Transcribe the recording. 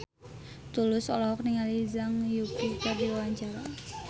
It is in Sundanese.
Tulus olohok ningali Zhang Yuqi keur diwawancara